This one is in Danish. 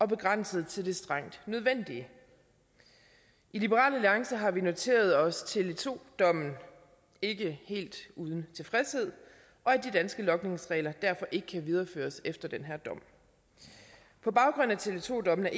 begrænset til det strengt nødvendige i liberal alliance har vi noteret os tele2 dommen ikke helt uden tilfredshed og at de danske logningsregler derfor ikke kan videreføres efter den her dom på baggrund af tele2 dommen er